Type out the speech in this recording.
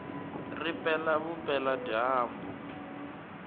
ri pela vupela dyambu